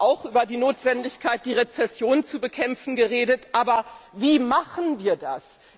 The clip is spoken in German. Sie haben auch über die Notwendigkeit, die Rezession zu bekämpfen, geredet, aber wie machen wir das?